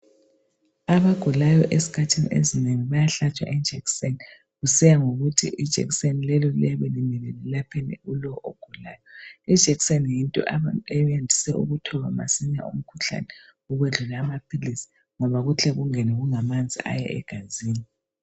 Abagulayo ezikhathini ezinengi bayahlatshwa ijekiseni kusiya ngokuthi ijekiseni lelo liyabe limele lilapheni kulowo ogulayo. Ijekiseni yinto abayisebenzisa ukuthoba masinya umkhuhlane, ukwedlula amaphilisi ngoba kuhle kungene kungamanzi aya egazini.